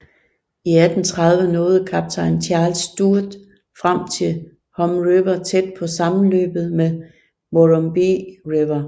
I 1830 nåede kaptajn Charles Sturt frem til Hume River tæt på sammenløbet med Murrumbidgee River